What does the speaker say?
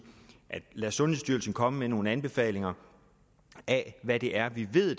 at man lade sundhedsstyrelsen komme med nogle anbefalinger af hvad det er vi ved